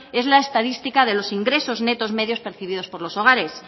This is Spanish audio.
es la estadística de los ingresos netos medios percibidos por los hogares